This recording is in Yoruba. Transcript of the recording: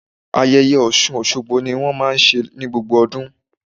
Ayẹyẹ Ọ̀ṣun Òṣogbo ni wón máa ń ṣe ní gbogbo ọdún.